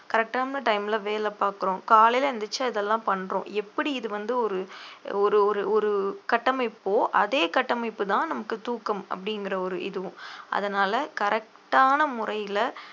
correct ஆன time ல வேலை பார்க்கிறோம் காலையில எந்திரிச்சு இதெல்லாம் பண்றோம் எப்படி இது வந்து ஒரு ஒரு ஒரு ஒரு கட்டமைப்போ அதே கட்டமைப்புதான் நமக்கு தூக்கம் அப்படிங்கிற ஒரு இதுவும் அதனால correct ஆன முறையில